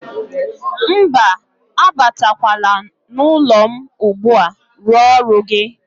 Mba, abatakwala n'ụlọ m ugbu a, rụọ ọrụ gị.